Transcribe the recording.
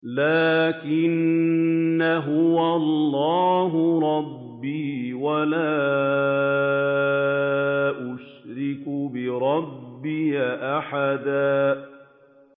لَّٰكِنَّا هُوَ اللَّهُ رَبِّي وَلَا أُشْرِكُ بِرَبِّي أَحَدًا